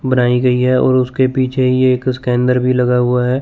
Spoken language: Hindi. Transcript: बनाई गई है और उसके पीछे ही एक उसके अंदर भी लगा हुआ है।